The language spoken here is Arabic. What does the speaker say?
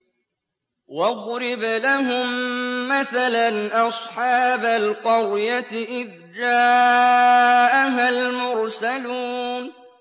وَاضْرِبْ لَهُم مَّثَلًا أَصْحَابَ الْقَرْيَةِ إِذْ جَاءَهَا الْمُرْسَلُونَ